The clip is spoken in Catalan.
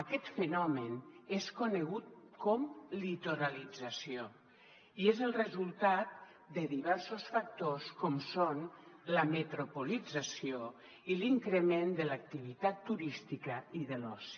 aquest fenomen és conegut com a litoralització i és el resultat de diversos factors com són la metropolització i l’increment de l’activitat turística i de l’oci